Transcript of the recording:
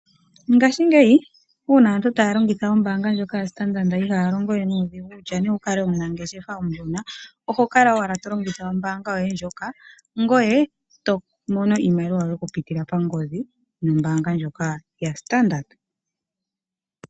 Ngashingeyi uuna aantu taa longitha ombaanga ndjoka yaStandard ihaya longo we nuudhigu, kutya owu kale omunangeshefa omushona, oho kala owala to longitha ombaanga yoye ndjoka, ngoye to mono iimaliwa yoye okupitila kongodhi nombaanga ndjoka yaStandard.